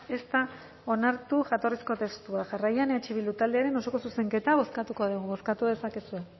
ez da onartu jatorrizko testua jarraian eh bildu taldearen osoko zuzenketa bozkatuko dugu bozkatu dezakezue